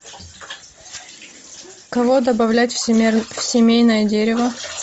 кого добавлять в семейное дерево